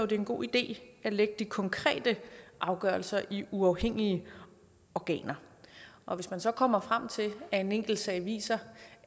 det er en god idé at lægge de konkrete afgørelser i uafhængige organer og hvis man så kommer frem til at en enkeltsag viser